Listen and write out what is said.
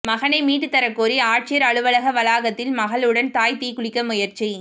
மகனை மீட்டுத் தரக் கோரி ஆட்சியா் அலுவலக வளாகத்தில் மகளுடன் தாய் தீக்குளிக்க முயற்சி